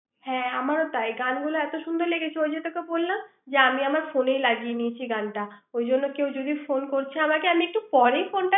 হ্যাঁ আমারও তাই গানগুলো এত সুন্দর লেগেছে ওই যে তোকে বললাম আমি আমার ফোনে লাগিয়ে নিয়েছি গানটা ওই জন্য কেউ যদি ফোন করছে আমাকে আমি একটু পরে ফোনটা